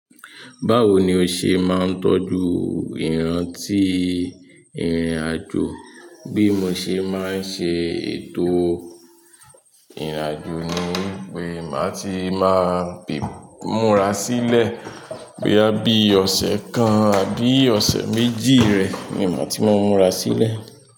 Báwo ni o ṣe máa ń tọ́jú ìrántí ìrìn àjò? Bí mo ṣe máa ń ṣe ètò ìrìn àjò ni wípé màá ti máa múra sílẹ̀. Boya bí ọ̀sẹ̀ kan àbí ọ̀sẹ̀ méjì rẹ ni màá ti máa múra sílẹ̀.